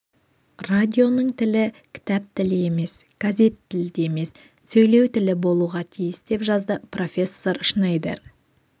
радионың тілі кітап тілі емес газет тілі де емес сөйлеу тілі болуға тиіс деп жазды профессор шнейдер